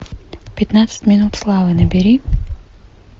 пятнадцать минут славы набери